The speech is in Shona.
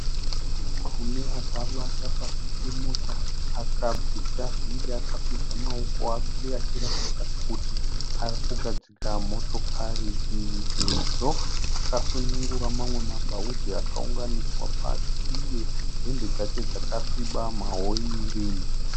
Murume akavata pasí pemota akabvisa vhiri. Akakwidza maoko ake achiratidza Kuti arikugadzira motokari iyi Sezvo akasunungura mamwe mabhaudhi akaunganidzwa pasi iye hembe dzake dzakasviba ma oiri.